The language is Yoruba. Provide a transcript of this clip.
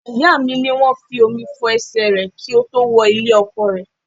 Ìyá mi ní wọ́n fi omi fo ẹsẹ rẹ ki ó tó wo ilé-ọkọ rẹ̀.